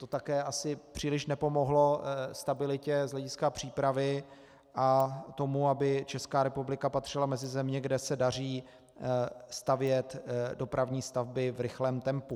To také asi příliš nepomohlo stabilitě z hlediska přípravy a tomu, aby Česká republika patřila mezi země, kde se daří stavět dopravní stavby v rychlém tempu.